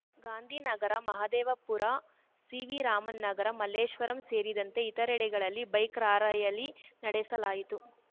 ಗಾಂಧಿನಗರ ಮಹದೇವಪುರ ಸಿವಿರಾಮನ್‌ ನಗರ ಮಲ್ಲೇಶ್ವರಂ ಸೇರಿದಂತೆ ಇತರೆಡೆಗಳಲ್ಲಿ bike rally ನಡೆಸಲಾಯಿತು